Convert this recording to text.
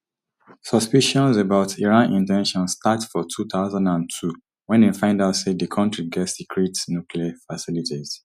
suspicions about iran in ten tions start for two thousand and two wen dem find out say di kontri get secret nuclear facilities